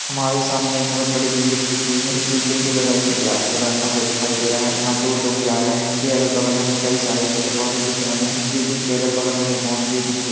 हमारे सामने एक बहोत बड़ी बिल्डिंग दिख रही है इस बिल्डिंग के बगल से एक रास्ता जाता हुआ दिखाई दे रहा है जहाँ दो लोग जा रहे है के अगल-बगल हमें कई सारे पेड़-पौधे दिख रहे है इस बिल्डिंग के अगल-बगल हमें बाउंड्री दिख--